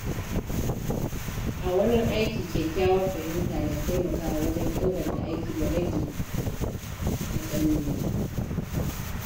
A wurin aiki, kyakkyawar fahimta na taimakawa wajen inganta aiki da rage matsaloli.